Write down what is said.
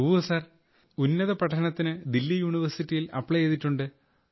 yes sir now I am applying in Delhi university for my higher studies